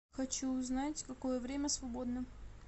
хочу узнать какое время свободно